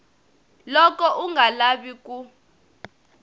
loko u nga lavi ku